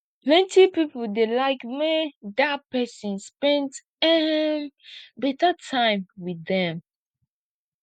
plenty pipo dey like make dia pesin spend um beta time with dem